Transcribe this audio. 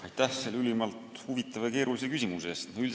Aitäh selle ülimalt huvitava ja keerulise küsimuse eest!